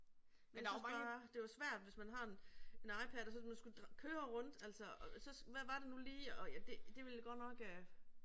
Jeg synes bare, det er jo svært hvis man har en en iPad og så man skulle køre rundt altså og så hvad var det nu lige og ja det det ville jeg godt nok